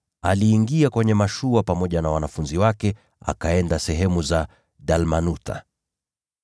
aliingia kwenye mashua pamoja na wanafunzi wake, akaenda sehemu za Dalmanutha.